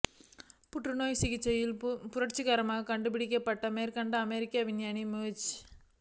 புற்று நோய்க்கான சிகிச்சையில் புரட்சிகரமான கண்டுப்பிடிப்புக்களை மேற்கொண்ட அமெரிக்க விஞ்ஞானி ஜேம்ஸ்